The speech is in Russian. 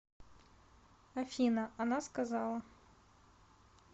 афина она сказала